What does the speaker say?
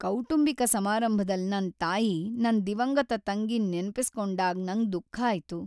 ಕೌಟುಂಬಿಕ ಸಮಾರಂಭದಲ್ ನನ್ ತಾಯಿ ನನ್ ದಿವಂಗತ ತಂಗಿನ್ ನೆನಪಿಸಿಕೊಂಡಾಗ್ ನಂಗ್ ದುಃಖ ಆಯ್ತು.